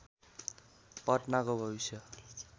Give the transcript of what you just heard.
पटनाको भविष्य